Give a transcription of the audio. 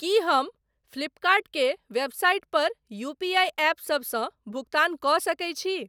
की हम फ्लिपकर्ट के वेबसाईट पर यूपीआई एपसभसँ भुगतान कऽ सकैत छी?